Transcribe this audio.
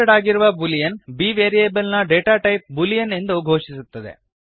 keyword ಆಗಿರುವ Boolean B variable ನ data type Boolean ಎಂದು ಘೋಷಿಸುತ್ತದೆ